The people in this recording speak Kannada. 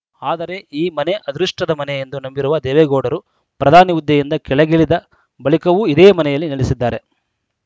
ಆದರೆ ಈ ಮನೆ ಅದೃಷ್ಟದ ಮನೆ ಎಂದು ನಂಬಿರುವ ದೇವೇಗೌಡರು ಪ್ರಧಾನಿ ಹುದ್ದೆಯಿಂದ ಕೆಳಗಿಳಿದ ಬಳಿಕವೂ ಇದೇ ಮನೆಯಲ್ಲಿ ನೆಲೆಸಿದ್ದಾರೆ